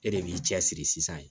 E de b'i cɛ siri sisan